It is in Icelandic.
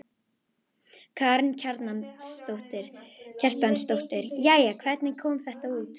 Karen Kjartansdóttir: Jæja, hvernig kom þetta út?